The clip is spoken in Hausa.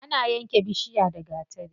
Ana yanke bishiya da gatari.